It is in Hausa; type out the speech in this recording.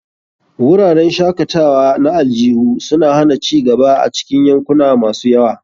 Wuraren shakatawa na aljihu suna hana ci gaba a cikin yankuna masu yawa.